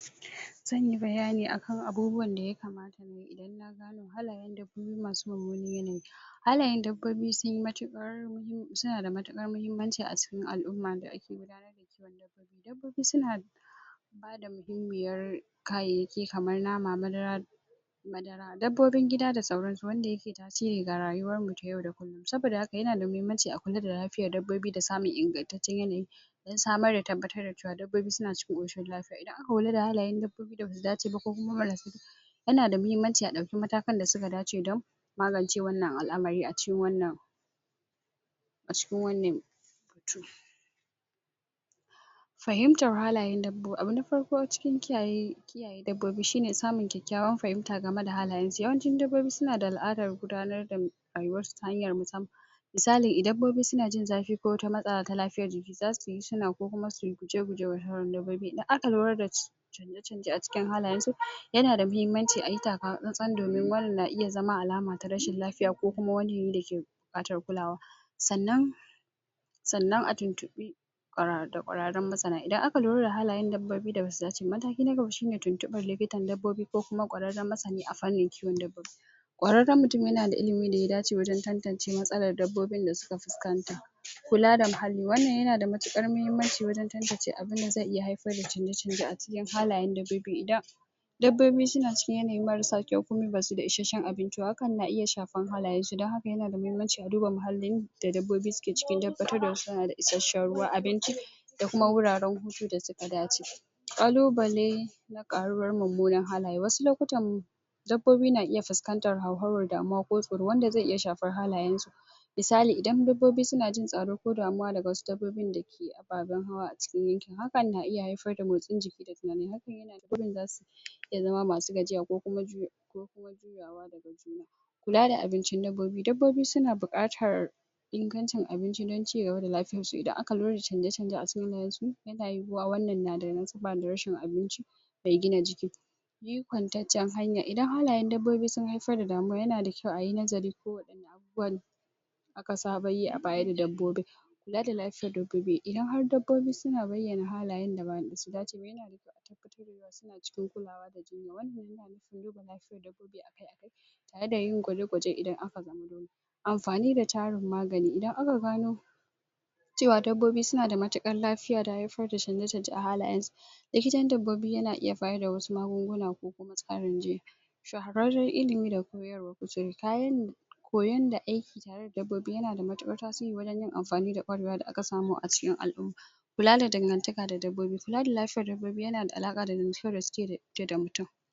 Zan yi bayani akan abubuwan da ya kamata halayen dabbobi masu mummunan yanayi halayen dabbobi sun yi matuƙar suna da matuƙar muhimmanci a cikin al'umma dabbobi suna da bayar da muhimmin kayayyaki kamar nama, madara dasauransu dabbobin gida da sauransu wanda yake tasiri a rayuwarmu ta yau da kullum saboda haka yana da muhimmanci a kula da lafiyar dabbobi da samun ingantaccen yanayi dan samar da tabbatar da dabbobi suna cikin ƙoshin lafiya idan aka kula da dabbobin da ba su dace ba yana muhimmanci a ɗauki matakanda suka dace dan magance wannan al'amari a cikin wannan a cikin wannan tu fahimtar halayen dabbobi abu na farko cikin kiyaye dabbobi shi ne samun kyakkyawan fahimta game da halayensu yawanci dabbobi suna da al'adar gudanar da rayuwarsu ta hanyar musamman misali dabbobi idan suna jin zafi ko wata matsalar ta lafiyar jiki za su yi hina ko kuma su yi guje-guje wataran dabbobi idan aka lura da cewa canji a cikin halayensu yana da muhimmanci a yi takatsantsan domin wane na zama wata alama ta rashin lafiya ko kuma wani yanayi da yake buƙatar kulawa sannan sannan a tuntuɓi kwararrun masana idan aka lura da halayen dabbobi da ba su dace ba mataki na gaba shi ne tuntuɓar likitan dabbobi ko kuma kwararren masani a fanin kiwon dabbobi kwararren mutum yana da ilimin da ya dace wajen tantance matsalar dabbobin da suka fuskanta kula da muhalli wannan yana da matuƙar muhimmanci wajen tantance abin zai haifar da canje-canje a cikin halayen dabbobi idan dabbobi suna cikin yanayi marasa kyau ko ba su da ishasshen abinci hakan na iya shafar halayensu dan haka yana da muhimmanci a duba muhallun da dabbobi dan tabbatar da suna da ishasshen ruwa abinci da kuma wuraren hutu inda suka dace ƙalubale ƙaruwar mummunan halaye wasu lokutan dabbobi na iya fuskantar hauhawar damuwa ko tsoro wanda zai iya shafar halayensu misali idan dabbobi suna jin tsoro ko damuwa daga wasu dabbobin ababan hawa a cikin yankin hakan na iya haifar da motsin jiki da kuma waɗanda za su zama masu gajiya ko kuma jiyo kula da abincin dabbobi, dabbobi suna da buƙatar ingancin abinci dan cigaba da lafiyaarsu idan aka lura da canje-canje a cikin yanayinsu yana yiwuwa wannan na da nasaba da rashin abinci mai gina jiki bi kwantaccen hanya idan halayen dabbobi sun haifar da damuwa yana dakyau a yi nazari wani ka saba yi a bayan dabbobin kula da lafiyar dabbobi idan har dabbobi suna bayyana halayen da ba nasu ba zai yiwuwa suna cikin kulawa da juna a yanayi gwaje-gwaje idan aka zo amfani da tarin magani idan aka gano cewa dabbobi suna da matuƙar lafiya da haifar da canje-canje a halayensu likitan dabbobi yana iya bayar da wasu magunguna ko kuma tsarin je shaharanren ilimi da kuma cinikayya mai koyo da aiki tare da dabbobi yana da mutuƙar tasiri wajen yin amfani da kwarewa da aka samu a cikin al'umma kula da dangantaka da dabbobi, kula da lafiyar dabbobi yana da alaƙa da kula da mutum